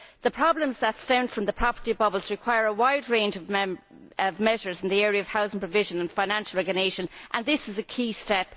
The problems that stem from the property bubbles require a wide range of measures in the area of housing provision and financial regulation, and this is a key step.